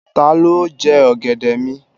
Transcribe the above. Ta ló jẹ ọ̀gẹ̀dẹ̀ mi?